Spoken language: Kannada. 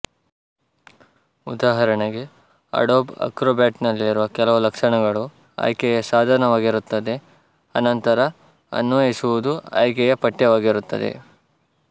ಉದಾಹರಣೆಗೆ ಅಡೋಬ್ ಅಕ್ರೋಬ್ಯಾಟ್ ನಲ್ಲಿರುವ ಕೆಲವು ಲಕ್ಷಣಗಳು ಆಯ್ಕೆಯ ಸಾಧನವಾಗಿರುತ್ತದೆ ಅನಂತರ ಅನ್ವಯಿಸುವುದು ಆಯ್ಕೆಯ ಪಠ್ಯವಾಗಿರುತ್ತದೆ